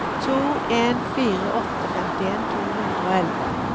to en fire åtte femtien to hundre og elleve